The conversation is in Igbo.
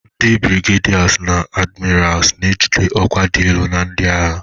Ndi Birigedasi na adimirasu na-ejide ọkwa dị elu na ndị agha.